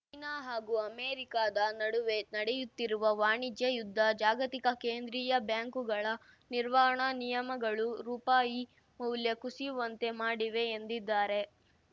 China ಹಾಗೂ ಅಮೆರಿಕಾದ ನಡುವೆ ನಡೆಯುತ್ತಿರುವ ವಾಣಿಜ್ಯ ಯುದ್ಧ ಜಾಗತಿಕ ಕೇಂದ್ರೀಯ ಬ್ಯಾಂಕುಗಳ ನಿರ್ವಹಣಾ ನಿಯಮಗಳು ರೂಪಾಯಿ ಮೌಲ್ಯ ಕುಸಿಯುವಂತೆ ಮಾಡಿವೆ ಎಂದಿದ್ದಾರೆ